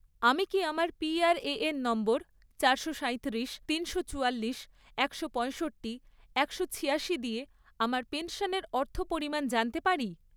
আমি কি আমার পিআরএএন নম্বর চারশো সাঁইত্রিশ, তিনশো চুয়াল্লিশ, একশো পঁয়ষট্টি, একশো ছিয়াশি দিয়ে আমার পেনশনের অর্থপরিমাণ জানতে পারি?